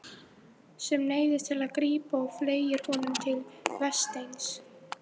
Sem neyðist til að grípa og fleygir honum til Vésteins.